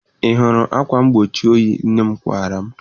Ị hụrụ akwa mgbochi oyi nne m kpara m?